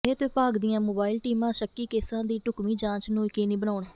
ਸਿਹਤ ਵਿਭਾਗ ਦੀਆਂ ਮੋਬਾਈਲ ਟੀਮਾਂ ਸ਼ੱਕੀ ਕੇਸਾਂ ਦੀ ਢੁਕਵੀਂ ਜਾਂਚ ਨੂੰ ਯਕੀਨੀ ਬਣਾਉਣ